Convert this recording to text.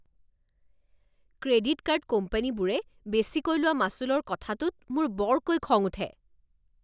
Credit card কোম্পানীবোৰে বেচিকৈ লোৱা মাচুলৰ কথাটোত মোৰ বৰকৈ খং উঠে।